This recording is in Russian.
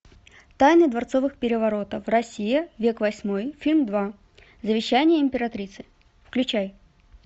тайны дворцовых переворотов россия век восьмой фильм два завещание императрицы включай